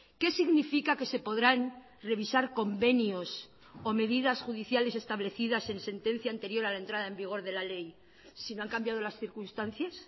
qué significa que se podrán revisar convenios o medidas judiciales establecidas en sentencia anterior a la entrada en vigor de la ley si no han cambiado las circunstancias